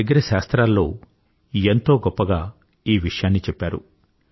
మన దగ్గర శాస్త్రాల్లో ఎంతో గొప్పగా ఈ విషయాన్ని చెప్పారు